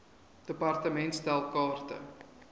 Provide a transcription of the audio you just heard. department stel kaarte